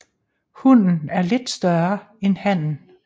Hunnen er lidt større end hannen